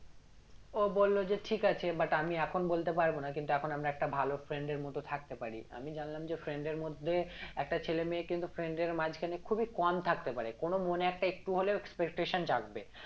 ও বললো যে ঠিক আছে but আমি এখন বলতে পারবো না কিন্তু এখন আমরা একটা ভালো friend এর মত থাকতে পারি আমি জানলাম যে friend এর মধ্যে একটা ছেলে মেয়ে কিন্তু friend এর মাঝখানে খুবই কম থাকতে পারে কোনো মনে একটা একটু হলেও expectation জাগবে